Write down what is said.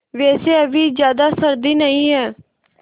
वैसे अभी ज़्यादा सर्दी नहीं है